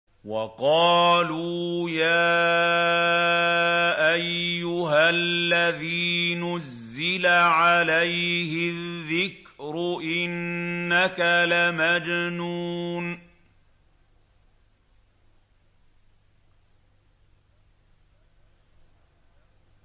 وَقَالُوا يَا أَيُّهَا الَّذِي نُزِّلَ عَلَيْهِ الذِّكْرُ إِنَّكَ لَمَجْنُونٌ